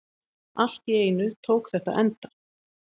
Allt í einu tók þetta enda.